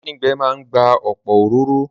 Díndín gbẹ máa n gba ọ̀pọ̀ òróró